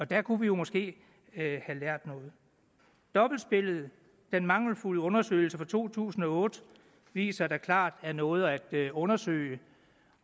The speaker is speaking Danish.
der kunne vi måske have lært noget dobbeltspillet og den mangelfulde undersøgelse fra to tusind og otte viser da klart at er noget at undersøge